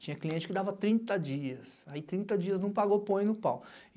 Tinha cliente que dava trinta dias, aí trinta dias não pagou põe no pau.